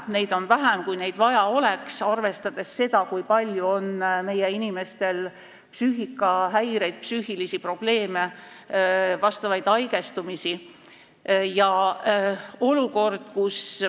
Neid on vähem, kui neid vaja oleks, arvestades seda, kui palju on meie inimestel psüühikahäireid, psüühilisi probleeme, vastavaid haigestumisi.